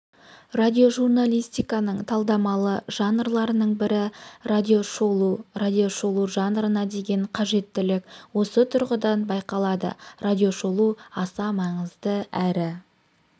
радиожурналистиканың талдамалы жанрларының бірі радиошолу радиошолу жанрына деген қажеттілік осы тұрғыдан байқалады радиошолу аса маңызды әрі